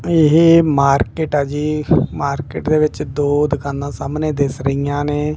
ਇਹ ਮਾਰਕਿਟ ਆ ਜੀ ਮਾਰਕਿਟ ਦੇ ਵਿੱਚ ਦੋ ਦੁਕਾਨਾਂ ਸਾਹਮਣੇ ਦਿੱਸ ਰਹੀਆਂ ਨੇਂ।